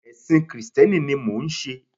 Èsìn krìsténi ni mò n se